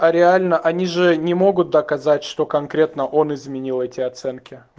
а реально они же не могут доказать что конкретно он изменил эти оценки